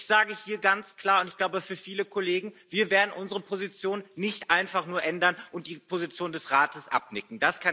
Aber ich sage hier ganz klar und ich glaube, für viele Kollegen Wir werden unsere Position nicht einfach nur ändern und die Position des Rates abnicken.